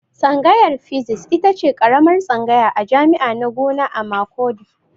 Tsangayar Physics itace karamar tsangaya a jami'a na gona a Makurdi